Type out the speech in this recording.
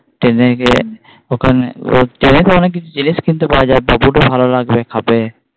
Train গিয়ে ওখানে ওর Train তো অনেক কিছু জিনিস কিনতে পাওয়া যায় বাবুর ও ভালো লাগবে। খাবে।